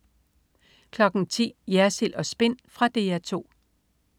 10.00 Jersild & Spin. Fra DR 2